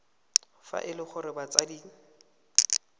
fa e le gore batsadi